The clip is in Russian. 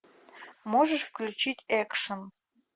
можешь включить экшн